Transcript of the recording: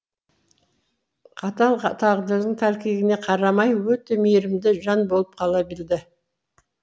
қатал тағдырдың тәлкегіне қарамай өте мейірімді жан болып қала білді